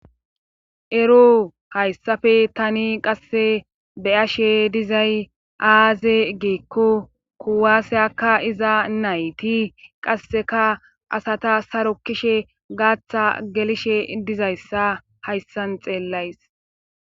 ero hayssafe tani qasse beyashe dizay aaze gikko kuwaasa kka'iza nayti qasseka asata sarokishe gaaththa gelishe dizayssa hayssan xeellays